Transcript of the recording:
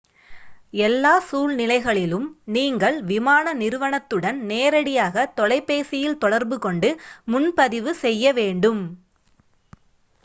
எல்லா சூழ்நிலைகளிலும் நீங்கள் விமான நிறுவனத்துடன் நேரடியாக தொலைபேசியில் தொடர்புகொண்டு முன்பதிவு செய்ய வேண்டும்